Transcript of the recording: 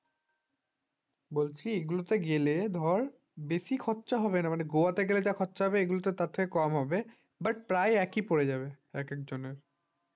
বলছি এগুলো তো গেলে ধর বেশি খরচা হবে না মানে ধর গোয়াতে গেলে যা খরচা হবে এগুলো তো তার থেকে কম হবে but প্রায় একই পড়ে যাবে একেকজনের